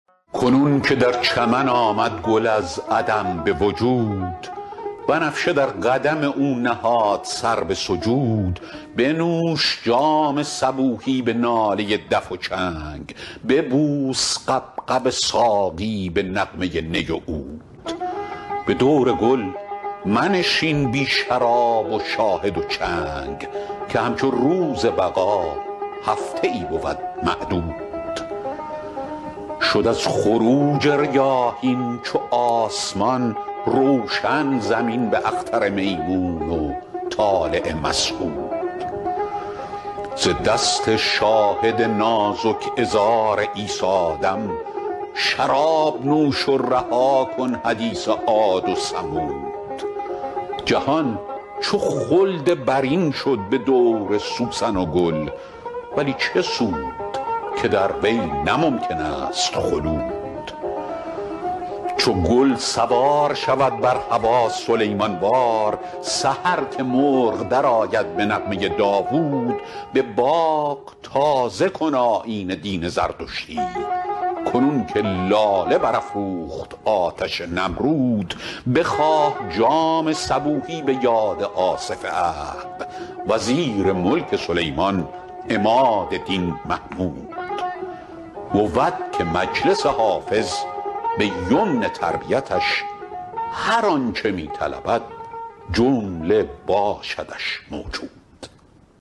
کنون که در چمن آمد گل از عدم به وجود بنفشه در قدم او نهاد سر به سجود بنوش جام صبوحی به ناله دف و چنگ ببوس غبغب ساقی به نغمه نی و عود به دور گل منشین بی شراب و شاهد و چنگ که همچو روز بقا هفته ای بود معدود شد از خروج ریاحین چو آسمان روشن زمین به اختر میمون و طالع مسعود ز دست شاهد نازک عذار عیسی دم شراب نوش و رها کن حدیث عاد و ثمود جهان چو خلد برین شد به دور سوسن و گل ولی چه سود که در وی نه ممکن است خلود چو گل سوار شود بر هوا سلیمان وار سحر که مرغ درآید به نغمه داوود به باغ تازه کن آیین دین زردشتی کنون که لاله برافروخت آتش نمرود بخواه جام صبوحی به یاد آصف عهد وزیر ملک سلیمان عماد دین محمود بود که مجلس حافظ به یمن تربیتش هر آن چه می طلبد جمله باشدش موجود